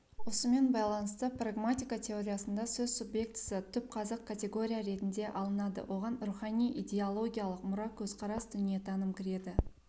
осымен байланысты прагматика теориясында сөз субъектісі түпқазық категория ретінде алынады оған рухани-идеологиялық мұра көзқарас дүниетаным кіреді